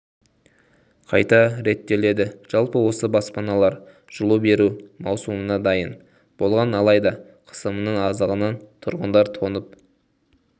қайта реттеледі жалпы осы баспаналар жылу беру маусымына дайын болған алайда қысымның аздығынан тұрғындар тоңып